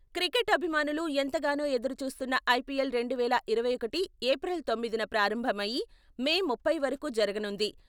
Cricket అభిమానులు ఎంతగానో ఎదురుచూస్తున్న ఐపీఎల్ రెండువేల ఇరవై ఒకటి ఏప్రిల్ తోమ్మిదిన ప్రారంభం అయి మే ముప్పై వరకూ జరగనుంది.